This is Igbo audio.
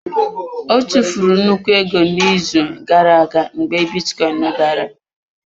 Ọ tụfuru nnukwu ego n'izu gara aga mgbe bitcoin dara.